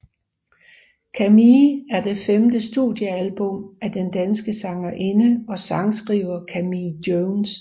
Camille er det femte studiealbum af den danske sangerinde og sangskriver Camille Jones